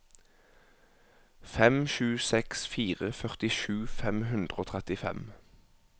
fem sju seks fire førtisju fem hundre og trettifem